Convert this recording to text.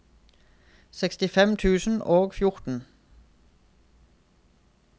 sekstifem tusen og fjorten